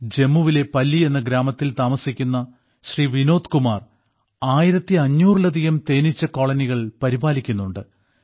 ജമ്മുവിലെ പല്ലി എന്ന ഗ്രാമത്തിൽ താമസിക്കുന്ന ശ്രീ വിനോദ് കുമാർ 1500 ലധികം തേനീച്ച കോളനികൾ പരിപാലിക്കുന്നുണ്ട്